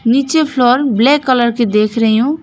नीचे floor black colour की देख रही हूँ।